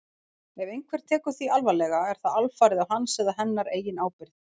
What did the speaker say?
Ef einhver tekur því alvarlega er það alfarið á hans eða hennar eigin ábyrgð.